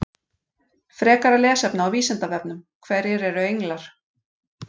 Frekara lesefni á Vísindavefnum: Hverjir eru englar?